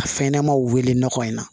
A fɛn ɲɛnɛmaw weele nɔgɔ in na